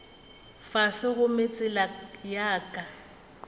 fase gomme tsela ya ka